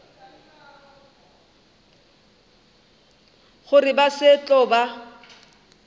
gore ba se tlo ba